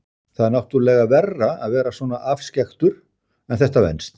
Það er náttúrlega verra að vera svona afskekktur en þetta venst.